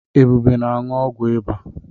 Ebube na-aṅụ ọgwụ ịba.